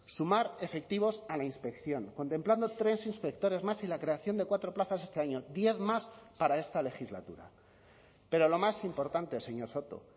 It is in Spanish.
sumar efectivos a la inspección contemplando tres inspectores más y la creación de cuatro plazas este año diez más para esta legislatura pero lo más importante señor soto